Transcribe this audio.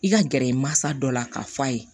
I ka gɛrɛ i masa dɔ la k'a f'a ye